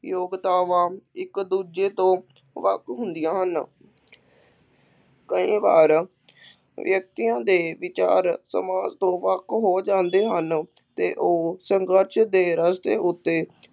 ਯੋਗਤਾਵਾਂ ਇੱਕ ਦੂਜੇ ਤੋਂ ਵੱਖ ਹੁੰਦੀਆਂ ਹਨ ਕਈ ਵਾਰ ਵਿਅਕਤੀਆਂ ਦੇ ਵਿਚਾਰ ਸਮਾਜ ਤੋਂ ਵੱਖ ਹੋ ਜਾਂਦੇ ਹਨ ਅਤੇ ਉੇਹ ਸੰਘਰਸ਼ ਦੇ ਰਸਤੇ ਉੱਤੇ